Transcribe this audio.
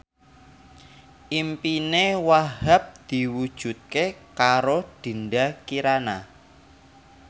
impine Wahhab diwujudke karo Dinda Kirana